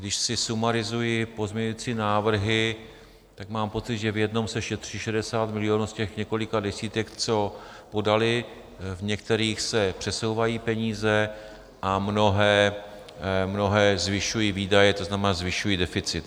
Když si sumarizuji pozměňující návrhy, tak mám pocit, že v jednom se šetří 60 milionů z těch několika desítek, co podali, v některých se přesouvají peníze a mnohé zvyšují výdaje, to znamená, zvyšují deficit.